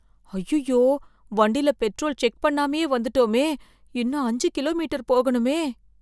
ஐயையோ, வண்டில petrol check பண்ணாமயே வந்துட்டமே, இன்னும் அஞ்சு கிலோமீட்டர் போகணுமே.